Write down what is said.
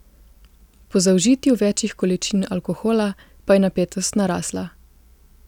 Po zaužitju večjih količin alkohola pa je napetost narasla.